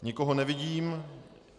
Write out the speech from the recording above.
Nikoho nevidím.